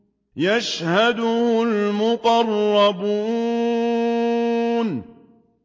يَشْهَدُهُ الْمُقَرَّبُونَ